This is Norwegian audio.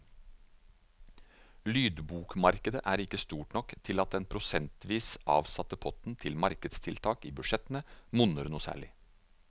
Lydbokmarkedet er ikke stort nok til at den prosentvis avsatte potten til markedstiltak i budsjettene monner noe særlig.